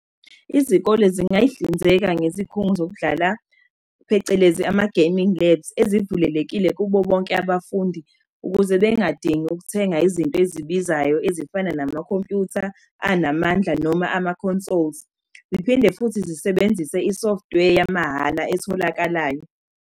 Izikole zingay'hlinzeka ngezikhungo zokudlala, phecelezi ama-gaming labs ezivulelekile kubo bonke abafundi. Ukuze bengadingi ukuthenga izinto ezibizayo ezifana namakhompuyutha anamandla noma ama-consoles. Ziphinde futhi zisebenzise i-software yamahhala etholakalayo.